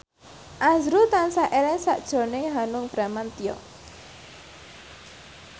azrul tansah eling sakjroning Hanung Bramantyo